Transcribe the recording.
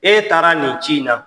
E taara nin ci in na.